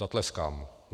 Zatleskám.